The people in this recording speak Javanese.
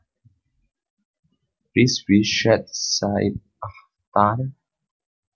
Rizvi Syed Saeed Akhtar